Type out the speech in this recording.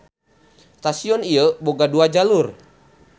Stasion ieu boga dua jalur.